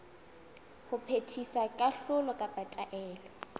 ho phethisa kahlolo kapa taelo